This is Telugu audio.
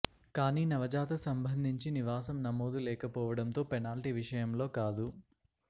కానీ నవజాత సంబంధించి నివాసం నమోదు లేకపోవడంతో పెనాల్టీ విషయంలో కాదు